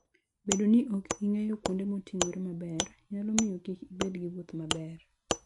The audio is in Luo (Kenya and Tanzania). Bedo ni ok ing'eyo kuonde moting'ore maber, nyalo miyo kik ibed gi wuoth maber.